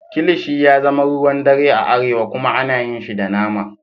Kilishi ya zama ruwan dare a arewa kuma ana yin shi da nama.